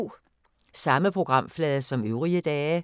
Samme programflade som øvrige dage